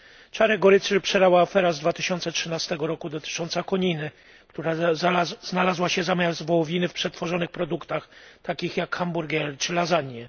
Czarę goryczy przelała afera z 2013 roku dotycząca koniny, która znalazła się zamiast wołowiny w przetworzonych produktach takich jak hamburgery czy lasagne.